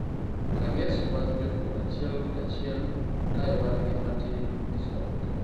tages mag jopur achiel kachiel, kae wan gi matin misomo